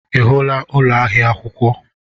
Ị hụla ụlọ ahịa akwụkwọ?